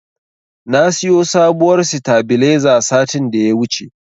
Na siyo sabuwar sitabiliza satin da ya wuce.